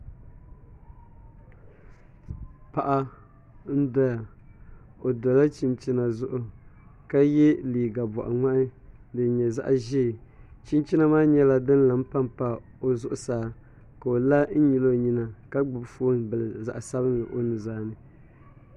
Paɣa n doya o dola chinchina zuɣu ka yɛ liiga boɣa ŋmahi din nyɛ zaɣ ʒiɛ chinchina maa nyɛla din lahi panpa o zuɣusaa ka o la n nyili o nyina ka gbubi foon bila zaɣ sabinli o nuzaa ni